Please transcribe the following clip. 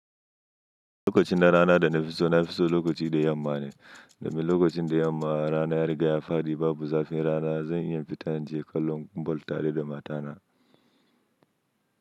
Lokacin na rana dana fiso, na fiso lokaci da yamma ne. Domin lokacin da yamma, rana ya riga ya fadi babu zafin rana, zan iya fita inje kallon ball tare da matana.